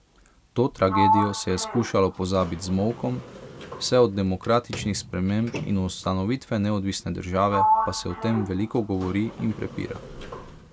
To tragedijo se je skušalo pozabiti z molkom, vse od demokratičnih sprememb in ustanovitve neodvisne države pa se o tem veliko govori in prepira.